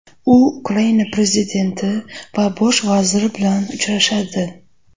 U Ukraina prezidenti va bosh vaziri bilan uchrashadi.